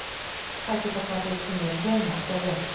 хочу посмотреть синергия на тв